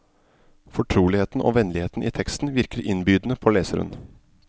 Fortroligheten og vennligheten i teksten virker innbydende på leseren.